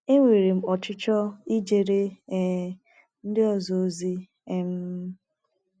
Enwere m ọchịchọ ijere um ndị ọzọ ozi. um